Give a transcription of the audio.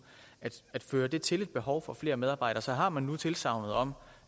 fører til til et behov for flere medarbejdere så har man nu tilsagnet om